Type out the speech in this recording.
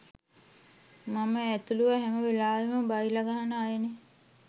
මම ඇතුළුව හැම වෙලාවෙම බයිලා ගහන අයනේ